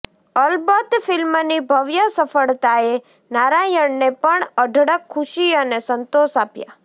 અલબત્ત ફિલ્મની ભવ્ય સફળતાએ નારાયણને પણ અઢળક ખુશી અને સંતોષ આપ્યાં